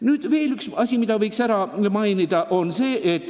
Nüüd aga veel üks asi, mida võiks mainida.